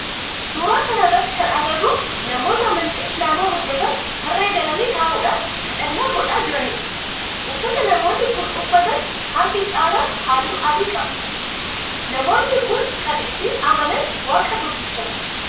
Suuraa kana irratti kan agarru namoota amantii islaamaa hordofan tarree galanii taa'udhan kadhannaa godha jiranidha. Uffata namoonni kun uffatan harki caalaan halluu adii qaba. Namoo. nni kun kan itti amanan waaqa tokkichatti.